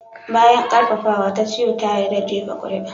Bayan ƙarfafawa, Tachio ta yarda da jefa kuri'a.